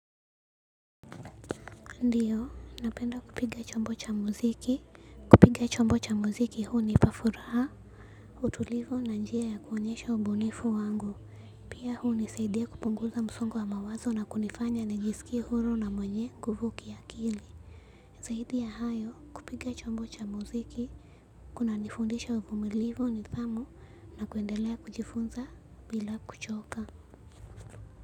Ndio, napenda kupiga chombo cha muziki. Kupiga chombo cha muziki hunipa furaha. Utulivu na njia ya kuonyesha ubunifu wangu. Pia huu hunisaidia kupunguza msongo wa mawazo na kunifanya nijisikie huru na mwenye nguvu kiakili. Zaidi ya hayo kupiga chombo cha muziki. Kunanifundisha uvumilivu nidhamu na kuendelea kujifunza bila kuchoka.